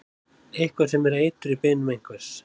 Eitthvað er sem eitur í beinum einhvers